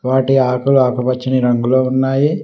వాటి ఆకులు ఆకుపచ్చని రంగులో ఉన్నాయి.